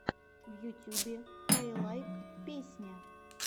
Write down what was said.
в ютюбе каилайк песня